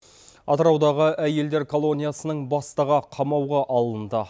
атыраудағы әйелдер колониясының бастығы қамауға алынды